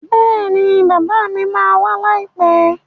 Bẹ́ẹ̀ni bàbá mi ma wá láìpẹ́